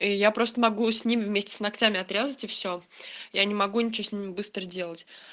и я просто могу с ними вместе с ногтями отрезать и всё я не могу ничего с ними быстро делать